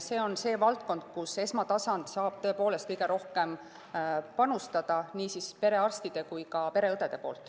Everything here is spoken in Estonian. See on see valdkond, kus esmatasandil saab kõige rohkem panustada, nii perearstide kui ka pereõdede poolt.